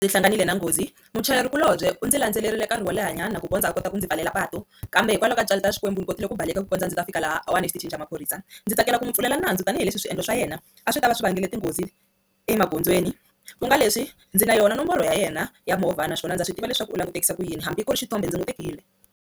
Ndzi hlanganile na nghozi muchayerikulobye undzi landzelerile nkarhi wo lehanyana ku kondza a kota ku ndzi pfalela patu kambe hikwalaho ka tintswalo ta xikwembu ni kotile ku baleka ku kondza a ndzi ta fika lahawani exitichini xa maphorisa, ndzi tsakela ku n'wi pfulela nandzu tanihileswi swiendlo swa yena a swi ta va swi vangele tinghozi emagondzweni ku nga leswi ndzi na yona nomboro ya yena ya movha naswona ndza swi tiva leswaku u langutekisa ku yini hambi ku ri xithombe ndzi tekile.